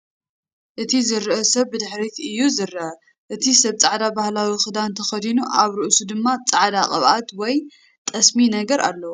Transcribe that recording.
እቲ ዝረአ ሰብ ብድሕሪት እዩ ዝረአ። እቲ ሰብ ጻዕዳ ባህላዊ ክዳን ተኸዲኑ፡ ኣብ ርእሱ ድማ ጻዕዳ ቅብኣት ወይ ጠስሚ ነገር ኣለዎ።